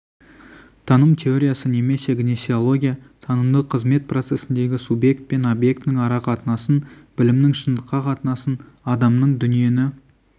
таным теориясы немесе гнесеология танымдық қызмет процесіндегі субъект пен объектінің арақатынасын білімнің шындыққа қатынасын адамның дүниені